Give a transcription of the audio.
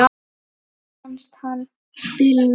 Mér fannst hann spila vel.